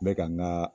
N bɛ ka n ka